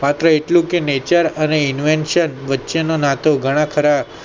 સાથે એટલું કે Nature અને invesachan વચ્ચે ના નાટો ઘણા ખરા